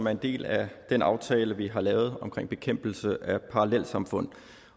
er en del af den aftale vi har lavet omkring bekæmpelse af parallelsamfund